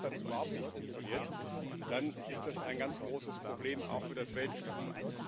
Und wenn das dann überhaupt nicht funktioniert, dann ist das ein ganz großes Problem auch für das Weltklima.